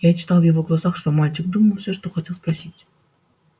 я читал в его глазах что мальчик думал всё что хотел спросить